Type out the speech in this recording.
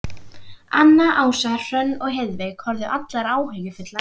Anna, Ása, Hrönn og Heiðveig horfðu allar áhyggjufullar á mig.